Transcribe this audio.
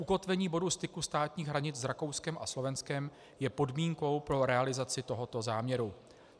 Ukotvení bodu styku státních hranic s Rakouskem a Slovenskem je podmínkou pro realizaci tohoto záměru.